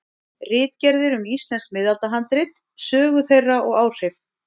Ritgerðir um íslensk miðaldahandrit, sögu þeirra og áhrif.